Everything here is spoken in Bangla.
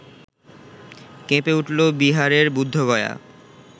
কেঁপে উঠল বিহারের বুদ্ধগয়া